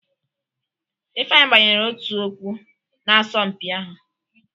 Ifeanyi gbanyere otu ọkpụ n'asọmpi ahụ.